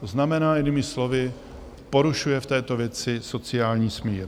To znamená jinými slovy, porušuje v této věci sociální smír.